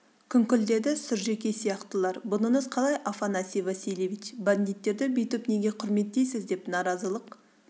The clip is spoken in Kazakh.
күңкілдеді сұржекей сияқтылар бұныңыз қалай афанасий васильевич бандиттерді бүйтіп неге құрметтейсіз деп наразылық